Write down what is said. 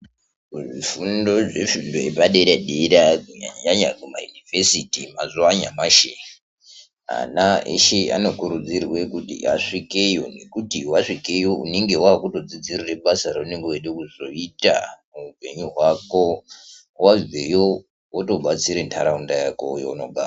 Muzvifundo zvenzvimbo yepadera dera kunyanyanyanya kumayunivhesiti mazuwa anyamashi ana eshe anokurudzirwe kuti asvikeyo ngekuti wasvikeyo unenge wakutodzidzirire basa raunenge weide kuzoita muupenyu hwako. Wobveyo wotobatsire ndaraunda yako yeunogara.